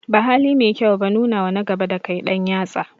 Ba haline mai kyau ba nunawa na gaba dakai ɗan yatsa